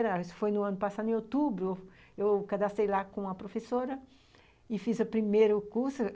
Isso foi no ano passado, em outubro, eu cadastrei lá com a professora e fiz o primeiro curso.